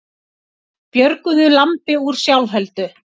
Björguðu lambi úr sjálfheldu